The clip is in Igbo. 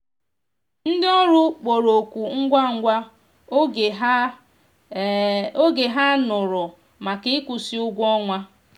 ndi ọrụ kpọrọ oku ngwa ngwa oge ha oge ha nụrụ maka ikwusi ụgwọ ọnwa.